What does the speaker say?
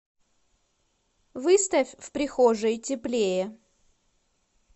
выставь в прихожей теплее